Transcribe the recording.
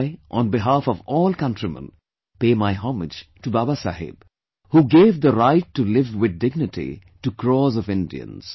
I, on behalf of all countrymen, pay my homage to Baba Saheb who gave the right to live with dignity to crores of Indians